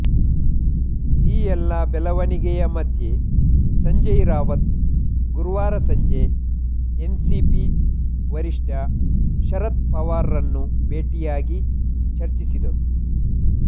ಈ ಎಲ್ಲ ಬೆಳವಣಿಗೆಯ ಮಧ್ಯೆ ಸಂಜಯ್ ರಾವತ್ ಗುರುವಾರ ಸಂಜೆ ಎನ್ಸಿಪಿ ವರಿಷ್ಠ ಶರದ್ ಪವಾರ್ರನ್ನು ಭೇಟಿಯಾಗಿ ಚರ್ಚಿಸಿದ್ದರು